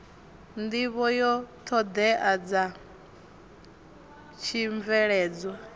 nḓivho ya ṱhoḓea dza tshibveledzwa